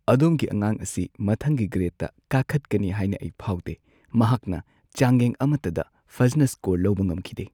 ꯑꯗꯣꯝꯒꯤ ꯑꯉꯥꯡ ꯑꯁꯤ ꯃꯊꯪꯒꯤ ꯒ꯭ꯔꯦꯗꯇ ꯀꯥꯈꯠꯀꯅꯤ ꯍꯥꯏꯅ ꯑꯩ ꯐꯥꯎꯗꯦ꯫ ꯃꯍꯥꯛꯅ ꯆꯥꯡꯌꯦꯡ ꯑꯃꯠꯇꯗ ꯐꯖꯅ ꯁ꯭ꯀꯣꯔ ꯂꯧꯕ ꯉꯝꯈꯤꯗꯦ꯫